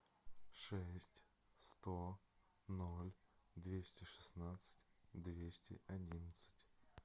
шесть сто ноль двести шестнадцать двести одинадцать